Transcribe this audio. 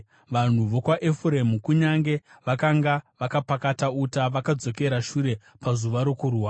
Vanhu vokwaEfuremu, kunyange vakanga vakapakata uta, vakadzokera shure pazuva rokurwa;